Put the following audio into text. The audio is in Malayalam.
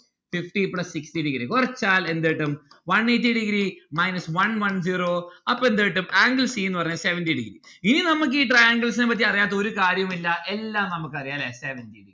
fifty plus sixty degree കൊറച്ചാൽ എന്ത് കിട്ടും? one eighty degree minus one one zero അപ്പൊ എന്ത് കിട്ടും angle c ന്ന്‌ പറഞ്ഞാൽ seventy degree ഇനി നമ്മുക്ക് ഈ triangles നെ പറ്റി അറിയാത്ത ഒരു കാര്യവുമില്ല എല്ലാം നമ്മുക്ക് അറിയാം ല്ലേ seventy degree